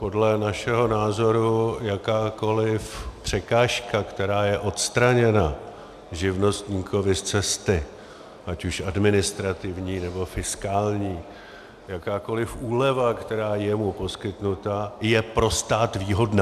Podle našeho názoru jakákoli překážka, která je odstraněna živnostníkovi z cesty, ať už administrativní, nebo fiskální, jakákoli úleva, která je mu poskytnuta, je pro stát výhodná.